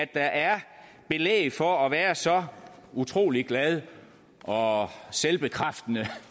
der er belæg for at være så utrolig glad og selvbekræftende